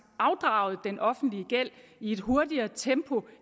afdraget den offentlige gæld i et hurtigere tempo